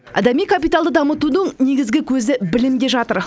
адами капиталды дамытудың негізгі көзі білімде жатыр